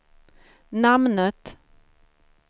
namnet